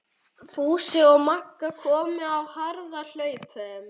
Fúsi og Magga komu á harðahlaupum.